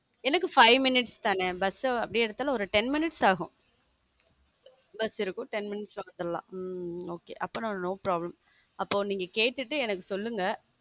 எனக்கு five minutes தானே bus அப்படியே எடுத்தாலும் ஒரு ten minutes ஆகும் bus இருக்கு ten minutes ல வந்துரலாம் உம் okay அப்போ no problem அப்புறம் நீங்க கேட்டுட்டு எனக்கு சொல்லுங்க